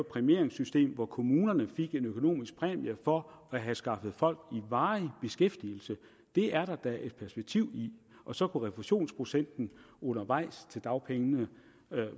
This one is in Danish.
præmieringssystem hvor kommunerne fik en økonomisk præmie for at have skaffet folk i varig beskæftigelse det er der da et perspektiv i og så kunne refusionsprocenten undervejs til dagpengene